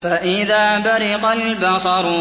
فَإِذَا بَرِقَ الْبَصَرُ